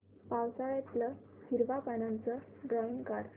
पावसाळ्यातलं हिरव्या पानाचं ड्रॉइंग काढ